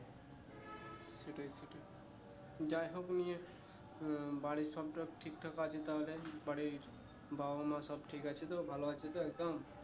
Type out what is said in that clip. যাই হোক ইয়ে বাড়ির সব টব ঠিক আছে তাহলে বাড়ির বাবা মা সব ঠিক আছে তো ভালো আছে তো একদম?